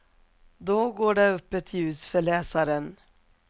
Då går det upp ett ljus för läsaren.